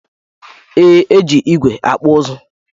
Ee, e ji igwe akpụ ụzụ.